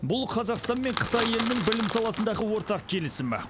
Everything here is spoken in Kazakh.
бұл қазақстан мен қытай елінің білім саласындағы ортақ келісімі